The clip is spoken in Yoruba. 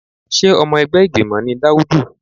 Sé ọmọ ẹgbẹ́ ìgbìmọ̀ ni Daudu?